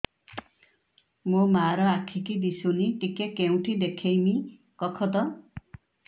ମୋ ମା ର ଆଖି କି ଦିସୁନି ଟିକେ କେଉଁଠି ଦେଖେଇମି କଖତ